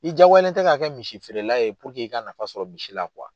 I jagoyalen tɛ ka kɛ misi feerela ye i ka nafa sɔrɔ misi la